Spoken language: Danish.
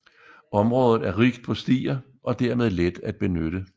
Området er rigt på stier og dermed let at benytte